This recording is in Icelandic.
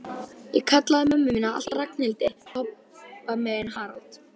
Ég kallaði mömmu mína alltaf Ragnhildi, pabba minn Harald.